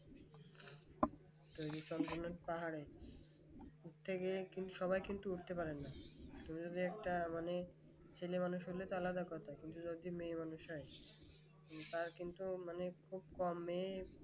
তো বিশাল পাহাড় উঠতে গিয়ে সবাই কিন্তু উঠতে পারে না তুমি যে একটা মানে ছেলেমানুষ হলে আর একটা আলাদা কথা কিন্তু যদি মেয়ে মানুষ হয় তার কিন্তু মানে খুব কমই